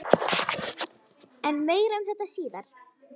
En meira um þetta síðar.